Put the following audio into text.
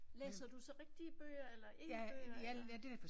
Læser du så rigtige bøger eller e bøger eller?